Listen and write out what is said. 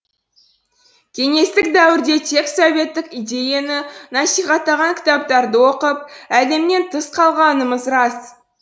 кеңестік дәуірде тек советтік идеяны насихаттаған кітаптарды оқып әлемнен тыс қалғанымыз рас